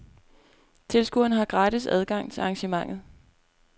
Tilskuere har gratis adgang til arrangementet.